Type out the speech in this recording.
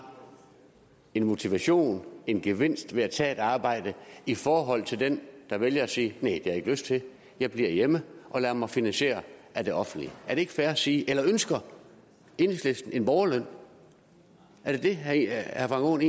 en motivation og en gevinst ved at tage et arbejde i forhold til den der vælger at sige næh jeg ikke lyst til jeg bliver hjemme og lader mig finansiere af det offentlige er det fair at sige det eller ønsker enhedslisten en borgerløn er det det herre frank aaen